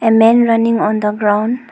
A men running on the ground.